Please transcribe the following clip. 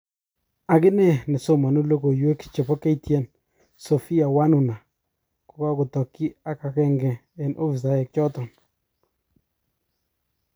Akine nesomonu logoiwek chebo KTN Sophia Wanuna kokokotokyi ak agenge eng ofisaek choton.